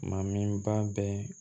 Mamin ba bɛɛ